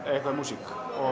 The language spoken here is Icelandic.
eitthvað um músík